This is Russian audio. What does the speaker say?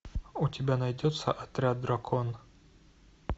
у тебя найдется отряд дракона